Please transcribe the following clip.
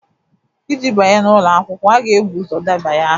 Iji banye n'ụlọ akwụkwọ, a ga-ebu ụzọ debanye aha